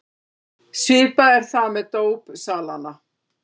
Svipað er það með dópsalana.